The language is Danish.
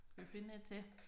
Skal vi finde 1 til